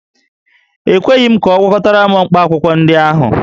E kweghị m ka ọ gwakọtara m mkpaakwụkwọ ndị ahụ